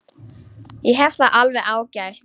Ég hef það alveg ágætt.